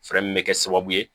Fɛɛrɛ min bɛ kɛ sababu ye